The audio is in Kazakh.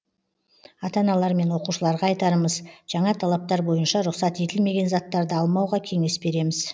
ата аналар мен оқушыларға айтарымыз жаңа талаптар бойынша рұқсат етілмеген заттарды алмауға кеңес береміз